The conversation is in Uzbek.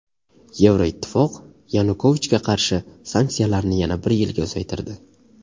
Yevroittifoq Yanukovichga qarshi sanksiyalarni yana bir yilga uzaytirdi.